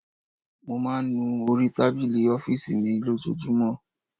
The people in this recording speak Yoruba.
Mo máa ń nu orí tábìlì ọ́fíìsì mi lójoojúmọ́.